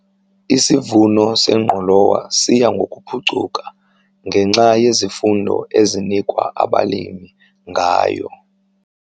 Isivuno sengqolowa siya ngokuphucuka ngenxa yezifundo ezinikwa abalimi ngayo.